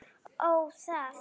Ó, það!